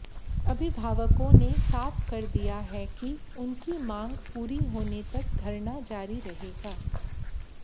अभिभावकों ने साफ कर दिया है कि उनकी मांग पूरी होने तक धरना जारी रहेगा